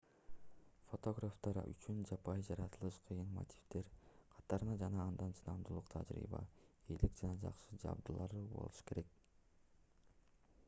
фотографтар үчүн жапайы жаратылыш кыйын мотивдердин катарында жана анда чыдамдуулук тажрыйба ийгилик жана жакшы жабдуулар болушу керек